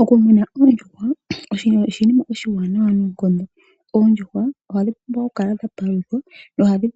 Okumuna oondjuhwa osho oshinima oshiwanawa noonkondo. Oondjuhwa ohadhi pumbwa okupaluthwa